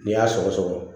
N'i y'a sɔgɔ sɔgɔ